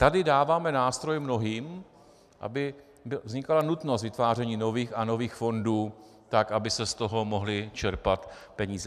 Tady dáváme nástroj mnohým, aby vznikala nutnost vytváření nových a nových fondů tak, aby se z toho mohly čerpat peníze.